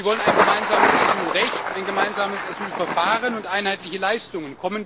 Sie wollen ein gemeinsames Asylrecht, ein gemeinsames Asylverfahren und einheitliche Leistungen.